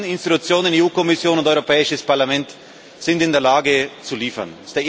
Die beiden Institutionen EU Kommission und Europäisches Parlament sind in der Lage, zu liefern.